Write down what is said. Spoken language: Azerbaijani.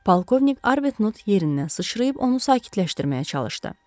Polkovnik Arbetnot yerindən sıçrayıb onu sakitləşdirməyə çalışdı.